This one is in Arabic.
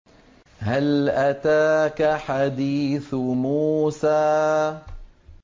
هَلْ أَتَاكَ حَدِيثُ مُوسَىٰ